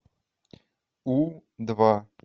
у два